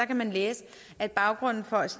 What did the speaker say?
kan man læse at baggrunden for at